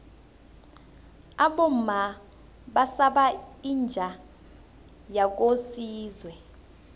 abomma basaba inja yakosizwe